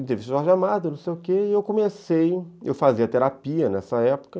E teve o Jorge Amado, não sei o quê, e eu comecei, eu fazia terapia nessa época,